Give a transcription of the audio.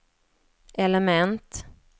element